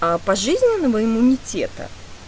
а пожизненного иммунитета